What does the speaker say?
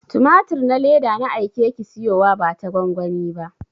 Tumatir na leda na aike ki siyowa bata gwangwani ba.